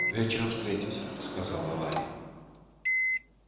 вечером встретимся сказала валя